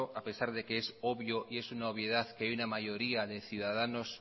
a pesar de que es obvio y es una obviedad que hay una mayoría de ciudadanos